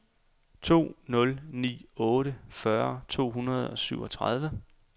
to nul ni otte fyrre to hundrede og syvogtredive